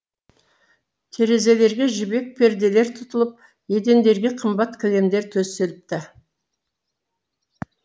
терезелерге жібек перделер тұтылып едендерге қымбат кілемдер төселіпті